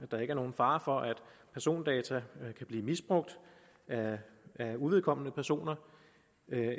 der ikke er nogen fare for at persondata kan blive misbrugt af uvedkommende personer